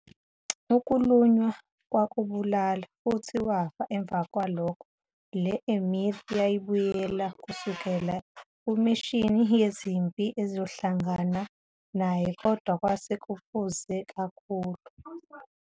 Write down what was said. Ukulunywa kwakubulala futhi wafa emva kwalokho. Le-Emir yayibuyela kusukela kumishini yezempi ezohlangana naye kodwa kwase kwephuze kakhulu.